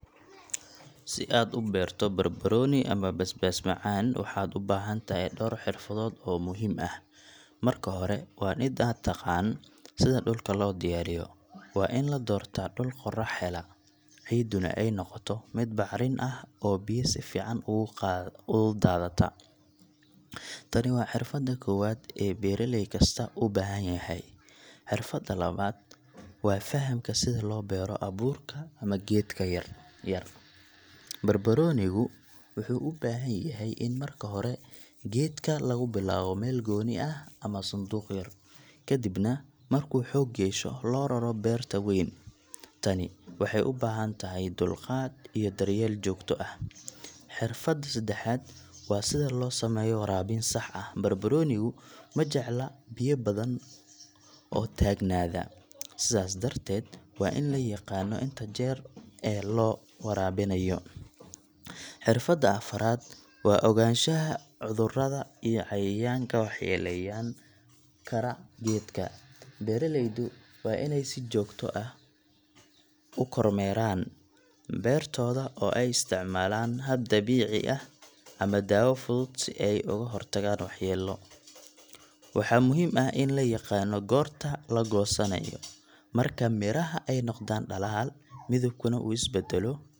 Si aad ubeerto barbarooni ama basbaas macaan, waxaad ubahan tahay door xirfadood oo muhiim ah, marka hore waa in aad taqaan sida dulka loo diyaariye, waa in ladoortaa dul qorax hela, ciidinu aay noqodo mid bacrin ah oo biyahu si fican ugu daata, tani waa xirfada koobaad ee beeraleey kasta uu ubahan yahay, xirfada labaad, waa fahamka sida loo beero abuurka ama geedka yar, barbaroonigu wuxuu ubahan yahay in marka hore geedka lagu bilaabo meel gooni ah ama sanduuq yar, kadibna markuu xoog yeesho loo raro beerta weyn, tani waxeey ubahan tahay dulqaad iyo dar yeel joogta ah, xirfada sadexaad waa sida loo sameeyo waraabin sax ah, barbaroonigu majecla biya badan oo taagnaada, sidaas darteed waa in layaaqana inta jeer ee la waraabinaayo, xirfada afaraad, waa ogaanshaha cudurada iyo cayayaanka wax yeelen kara geedka, beeraleydu waa ineey si joogtu ah ukor meeran beertooda oo aay isticmaalan hab dabiici ah ama daawo fudud si aay oogu hor tagaan wax yeelo, waxaa muhiim ah in layaqaano goorta lagoosanaayo, marka miraha aay noqdaan dalaal midabkuna uu is badalo.